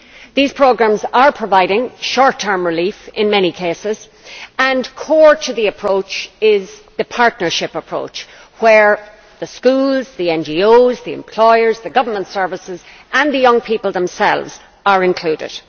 These programmes are providing short term relief in many cases, and core to the approach is the partnership approach, where the schools, the NGOs, the employers, the government services and the young people themselves are included.